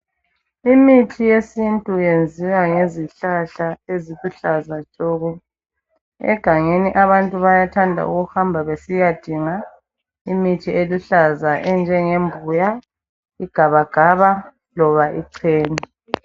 Imithi yesintu yenziwa ngezihlahla eziluhlaza tshoko. Egangeni abantu bayathanda ukuhamba besiyadinga imithi eluhlaza enjengembuya, igabagaba loba ichena.